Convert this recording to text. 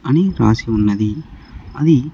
అని రాసి ఉన్నది అది.